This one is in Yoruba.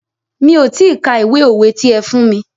Mi ò ti ka ìwé òwe ti ẹ fún mí.